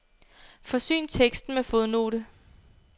Forsyn teksten med fodnote.